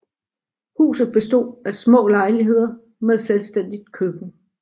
Huset bestod af små lejligheder med selvstændigt køkken